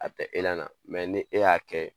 A tɛ na ni e y'a kɛ